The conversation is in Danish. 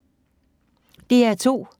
DR2